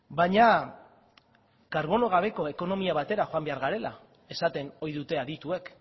baina karbono gabeko ekonomia batera joan behar garela esaten oi dute adituek